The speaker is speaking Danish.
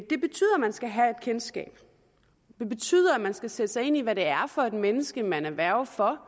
man skal have et kendskab det betyder at man skal sætte sig ind i hvad det er for et menneske man er værge for